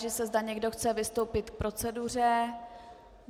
Táži se, zda někdo chce vystoupit k proceduře.